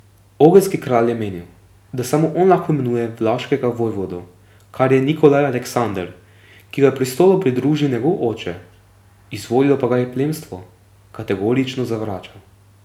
Ogrski kralj je menil, da samo on lahko imenuje vlaškega vojvodo, kar je Nikolaj Aleksander, ki ga je prestolu pridružil njegov oče, izvolilo pa ga je plemstvo, kategorično zavračal.